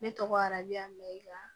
Ne tɔgɔ araja mɛyiwa